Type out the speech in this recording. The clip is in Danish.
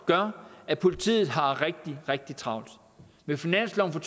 gør at politiet har rigtig rigtig travlt med finansloven for